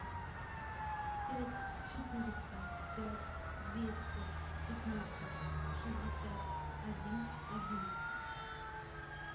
пять четыреста пять двести пятнадцать шестьдесят один одиннадцать